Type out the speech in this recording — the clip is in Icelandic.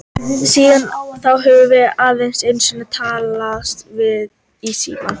Síðan þá höfum við aðeins einu sinni talast við í síma.